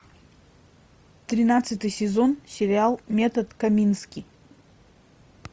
тринадцатый сезон сериал метод камински